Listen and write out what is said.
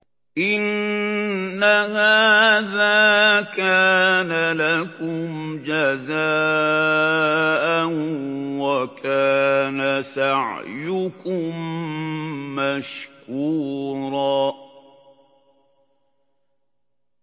إِنَّ هَٰذَا كَانَ لَكُمْ جَزَاءً وَكَانَ سَعْيُكُم مَّشْكُورًا